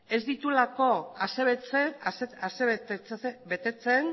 ez dituelakoasebetetzen